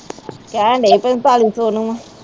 ਕਹਿਣਡੇ ਸੀ ਪੰਤਾਲੀ ਸੌ ਨੂੰ ਆਂ